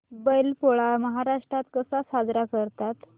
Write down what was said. बैल पोळा महाराष्ट्रात कसा साजरा करतात